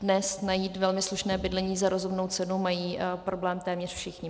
Dnes najít velmi slušné bydlení za rozumnou cenu mají problém téměř všichni.